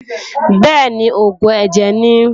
Bẹ́ẹ̀ni, oògùn ẹ̀jẹ̀ ni.